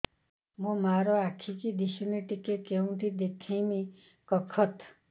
ମୋ ମା ର ଆଖି କି ଦିସୁନି ଟିକେ କେଉଁଠି ଦେଖେଇମି କଖତ